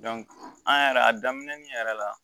an yɛrɛ a daminɛli yɛrɛ la